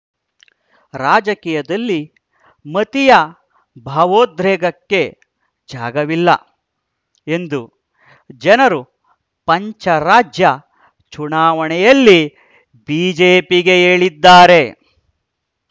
ರಾಜಕೀಯದಲ್ಲಿ ಮತೀಯ ಭಾವೋದ್ರೇಕಕ್ಕೆ ಜಾಗವಿಲ್ಲ ಎಂದು ಜನರು ಪಂಚರಾಜ್ಯ ಚುನಾವಣೆಯಲ್ಲಿ ಬಿಜೆಪಿಗೆ ಹೇಳಿದ್ದಾರೆ